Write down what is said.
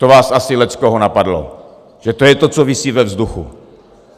To vás asi leckoho napadlo, že to je to, co visí ve vzduchu.